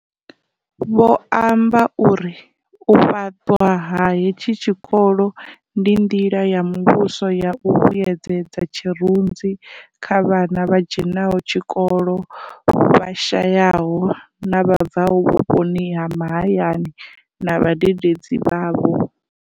Vho amba uri, U fhaṱwa ha hetshi tshikolo ndi nḓila ya muvhuso ya u vhuyedzedza tshirunzi kha vhana vha dzhenaho tshikolo, vha shayaho na vha bvaho vhuponi ha mahayani na vhadededzi vhavho.